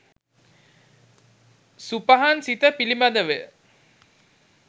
සුපහන් සිත පිළිබඳවය.